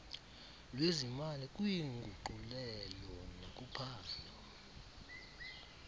lwezimali kwiinguqulelo nakuphando